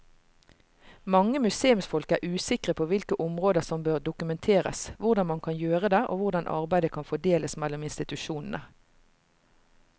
Mange museumsfolk er usikre på hvilke områder som bør dokumenteres, hvordan man kan gjøre det og hvordan arbeidet kan fordeles mellom institusjonene.